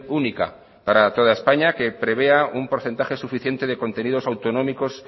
única para toda españa que prevea un porcentaje suficiente de contenidos autonómicos